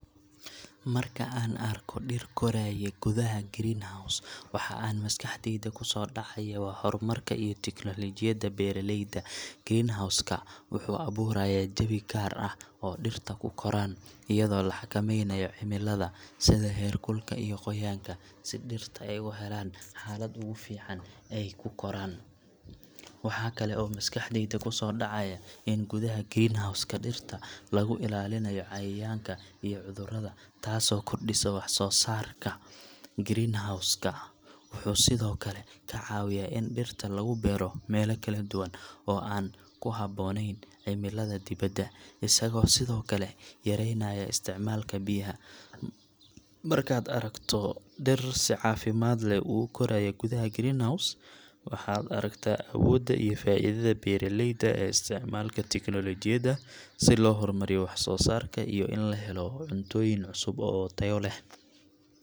Marka an arko diir kurayo godaxa green house waxa maskaxdeyda kusodacayo wa hormarka iyo technology beraleyda, green house wuxu aburaya jawii gaar ah, oo diirta kukoran, iyado laxakameynayo cimilada, sidha xerkulka iyo goyanka si dirta ay uxelan cimilo agu fican ay kukoran, waxa kale oo maskaxdeyda kusodacaya in gudax green house in diirta laguixalinayo cayayanka iyo cudurada, taas oo kordiso wax sosarka, green house, wuxu Sidhokale kacawiya in diirtu lagubero mela kaladuwan oo an kuxabonen cimilada dibada, isago Sidhokale yareynayo isticmalka biyaxa, markad aragto diir si cafimad leh ukorayo gudaxa green house waxad aragta awoda iyo faidada berayelda ay isticmalka technology yada , si loxormariyo wax sosarka iyo in laxelo cuntoyin cusub oo tayo leh.